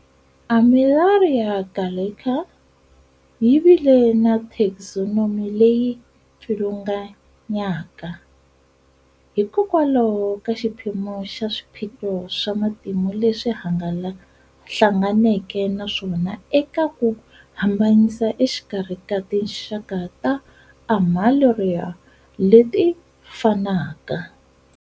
"Armillaria gallica" yi vile na taxonomy leyi pfilunganyaka, hikokwalaho ka xiphemu xa swiphiqo swa matimu leswi hlanganeke na swona eka ku hambanyisa exikarhi ka tinxaka ta"Armillaria" leti fanaka.